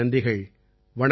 பலப்பல நன்றிகள்